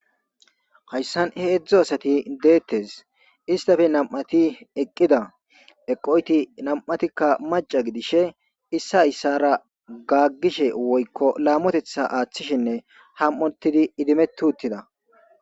hayssan hedzdzu asati deettes istafe nam'ati eqqida eqoyti nam'atikka maca gidishe issa issara gaggishe woykko laamotetha aaththishinne ham'otidi idimeti uttida